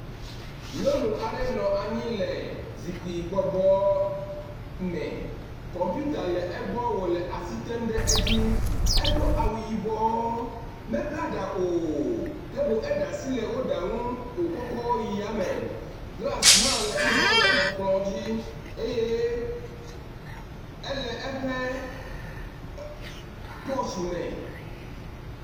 Nyɔnu aɖe nɔ anyi le zikpui bɔbɔ me. Kɔmpita le egbɔ wo le asi tem ɖe edzi. Edo awu yibɔ mebla ɖa o ke boŋ eɖe asi le wo ɖa ŋu wokɔkɔ yi yame. Glasi hã le egbɔ le kplɔ dzi eye ele eƒe pɔtsi me.